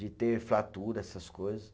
De ter fratura, essas coisas.